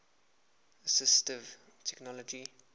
assistive technology